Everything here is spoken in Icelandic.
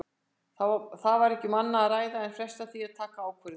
Það var ekki um annað að ræða en fresta því að taka ákvörðun.